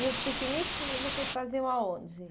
E os piqueniques vocês vocês faziam aonde?